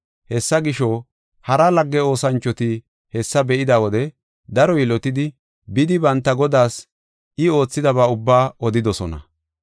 Hessa gisho, hara lagge oosanchoti hessa be7ida wode daro yilotidi, bidi banta godaas I oothidaba ubbaa odidosona.